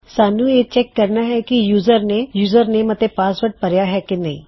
ਸਾਨੂੰ ਇਹ ਚੈੱਕ ਕਰਨਾ ਹੈ ਕੀ ਯੂਜ਼ਰ ਨੇ ਯੂਜ਼ਰਨੇਮ ਅਤੇ ਪਾਸਵਰਡ ਭਰੀਆ ਹੈ ਕੀ ਨਹੀ